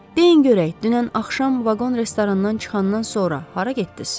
Deyin görək, dünən axşam vaqon restorandan çıxandan sonra hara getdiz?